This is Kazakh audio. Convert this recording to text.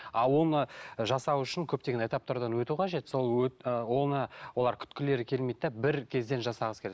а оны ы жасау үшін көптеген этаптардан өту қажет сол ы оны олар күткілері келмейді де бір кезден жасағысы келеді